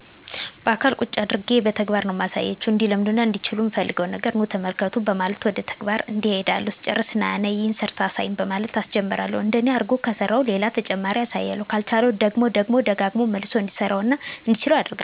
ባአካል ቁጭ አድርጌ በተግባር ነው ማሳያቸው። እንዲለምዱትና እንዲችሉት ምፈልገውን ነገር ኑ ተመልከቱ በማለት ወደ ተግባር እሄዳለሁ ስጨርስ ነይ/ና ይሄን ሰርተህ አሳየኝ በማለት አሰጀምረዋለሁ እንደኔ አርጎ ከሰራው ሌላ ተጨማሪ አሳየዋለሁ ካልቻለው ደግሞ ደግሞ ደጋግሞ መልሶ እንዲሰራው እና እንዲችለው አደርጋለሁ።